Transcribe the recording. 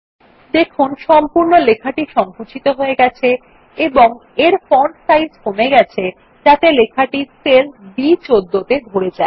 দেখুন সম্পূর্ণ লেখাটি সংকুচিত হয়ে গেছে এবং এর ফন্ট সাইজ কমে গেছে যাতে লেখাটি সেল B১৪ ত়ে ধরে যায়